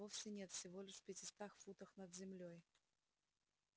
вовсе нет всего лишь в пятистах футах над землёй